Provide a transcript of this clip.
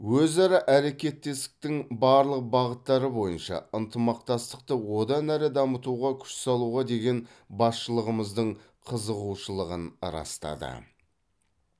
өзара әрекеттестіктің барлық бағыттары бойынша ынтымақтастықты одан әрі дамытуға күш салуға деген басшылығымыздың қызығушылығын растады